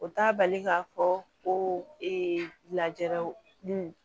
O t'a bali k'a fɔ ko lajaraw nun